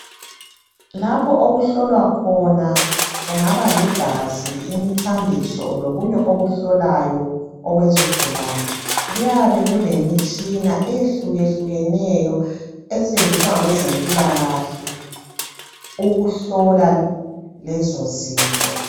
Lapho okuhlolwa khona kungaba ligazi, imithambiso, lokunye okuhlolwayo okwezigulane, kuyabe kulemitshina eyehluke hlukeneyo esetshenziswa ngabezempilakahle ukuhlola lezo zinto.